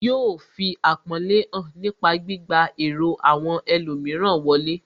Yóò fi àpọ́nlé hàn nípa gbígba èrò àwọn ẹlòmíràn wọlé